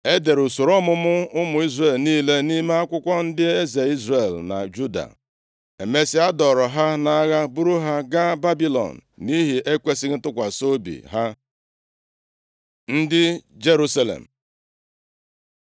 E dere usoro ọmụmụ ụmụ Izrel niile nʼime akwụkwọ ndị eze Izrel na Juda. Emesịa, a dọọrọ ha nʼagha buru ha gaa Babilọn nʼihi ekwesighị ntụkwasị obi ha. Ndị Jerusalem